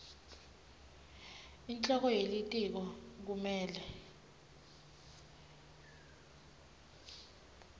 inhloko yelitiko kumele